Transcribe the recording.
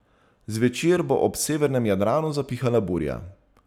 Zvečer bo ob severnem Jadranu zapihala burja.